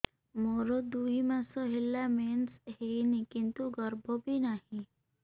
ମୋର ଦୁଇ ମାସ ହେଲା ମେନ୍ସ ହେଇନି କିନ୍ତୁ ଗର୍ଭ ବି ନାହିଁ